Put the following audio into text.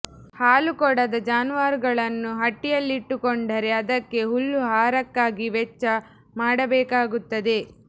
ಹಾಲು ಕೊಡದ ಜಾನುವಾರುಗಳನ್ನ್ನು ಹಟ್ಟಿಯಲ್ಲಿಟ್ಟುಕೊಂಡರೆ ಅದಕ್ಕೆ ಹುಲ್ಲು ಆಹಾರಕ್ಕಾಗಿ ವೆಚ್ಚ ಮಾಡಬೇಕಾಗುತ್ತದೆ